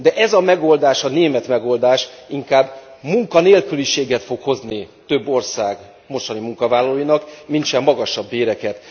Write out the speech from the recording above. De ez a megoldás, a német megoldás inkább munkanélküliséget fog hozni több ország mostani munkavállalóinak, mintsem magasabb béreket.